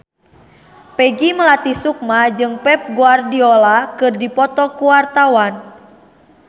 Peggy Melati Sukma jeung Pep Guardiola keur dipoto ku wartawan